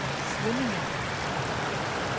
Svinninge